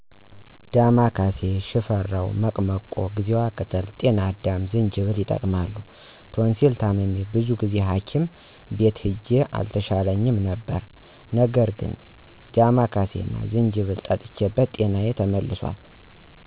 ዳማከሲ፣ ሽፈራው፣ መቅመቆ፣ ጊዜዋ ቅጠል፣ ጤናዳም እና ዝንጅብል ይጠቀማሉ። ቶንሲል ታምሜ ብዙ ጊዜ ሀኪም ቤት ሂጄ አልተሻለኝም ነበር ነገር ግን ዳማከሲ እና ዝንጅብል ጠጥቼበት ጤናዬ ተመልሷል።